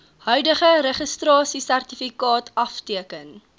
huidige registrasiesertifikaat afteken